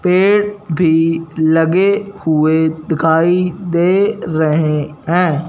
पेड़ भी लगे हुए दिखाई दे रहे हैं।